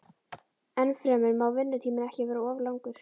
Ennfremur má vinnutíminn ekki vera of langur.